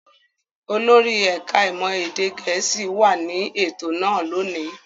Olórí ẹ̀ka-ìmọ̀ èdè Gẹ̀ẹ́sì wà ní ètò náà lónìí.